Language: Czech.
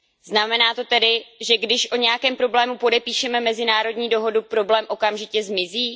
Znamená to tedy, že když o nějakém problému podepíšeme mezinárodní dohodu, problém okamžitě zmizí?